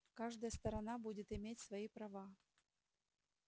каждая сторона будет иметь свои права